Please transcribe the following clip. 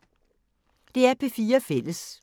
DR P4 Fælles